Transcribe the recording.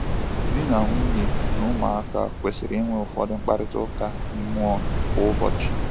Di na nwunye na ụmụaka kwesịrị inwe ụfọdụ mkparịta ụka mmụọ kwa ụbọchị.